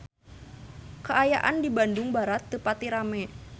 Kaayaan di Bandung Barat teu pati rame